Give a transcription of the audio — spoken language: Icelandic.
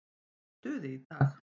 Ég er í stuði í dag.